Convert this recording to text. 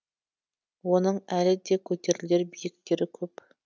оның әлі де көтерілер биіктері көп